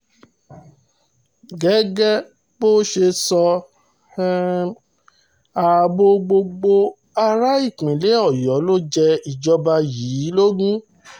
gẹ́gẹ́ bó ṣe sọ ààbò gbogbo ará ìpínlẹ̀ ọ̀yọ́ ló jẹ ìjọba yìí lógún